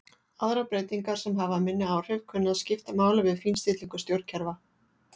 Aðrar breytingar sem hafa minni áhrif kunna að skipta máli við fínstillingu stjórnkerfa.